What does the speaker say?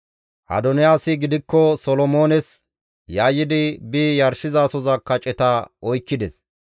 Adoniyaasi gidikko Solomoones yayyidi bi yarshizasoza kaceta oykkides.